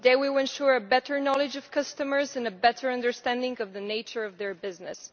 They will ensure a better knowledge of customers and a better understanding of the nature of their business.